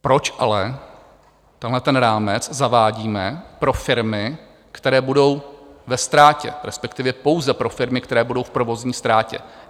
Proč ale tenhle rámec zavádíme pro firmy, které budou ve ztrátě, respektive pouze pro firmy, které budou v provozní ztrátě?